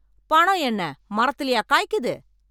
பணம் என்ன மரத்திலயா காய்க்குது